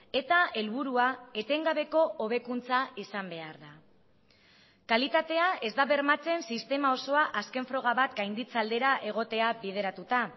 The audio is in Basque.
eta helburua etengabeko hobekuntza izan behar da kalitatea ez da bermatzen sistema osoa azken froga bat gainditze aldera egotea bideratuta